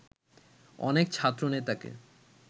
অনেক ছাত্রনেতাকে